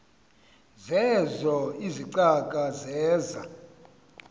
zeezo izicaka zeza